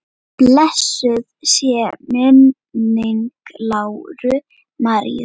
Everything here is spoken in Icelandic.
Blessuð sé minning Láru Maríu.